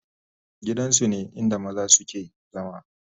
gidan su ne inda maza su ke zama